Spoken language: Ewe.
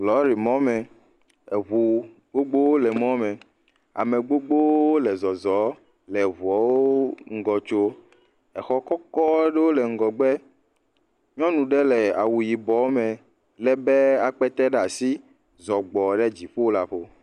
Lɔrimɔ me. Eɛu gbogbowo le lɔri me me. Ame gbogbowo le zɔzɔm le eŋua ŋgɔ tsom. Exɔ kɔkɔ aɖe le ŋgɔgbe, nyɔnu ɖe le awu yibɔ me le be akpete ɖe asi zɔ gbɔ ɖe dziƒo la ƒo.